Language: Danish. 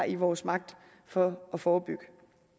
i vores magt for at forebygge